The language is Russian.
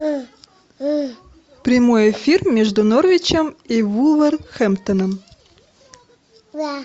прямой эфир между норвичем и вулверхэмптоном